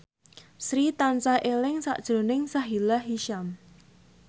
Sri tansah eling sakjroning Sahila Hisyam